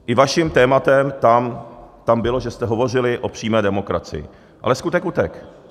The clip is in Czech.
I vaším tématem tam bylo, že jste hovořili o přímé demokracii, ale skutek utek.